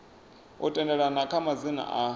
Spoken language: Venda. u tendelana kha madzina a